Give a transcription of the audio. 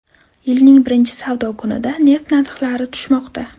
Yilning birinchi savdo kunida neft narxlari tushmoqda.